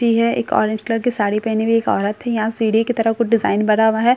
भी है एक ऑरेंज कलर साड़ी पहनी हुई एक औरत है यहां सीढ़ी के तरफ कुछ डिजाइन बना हुआ है।